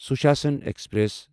Sushasan express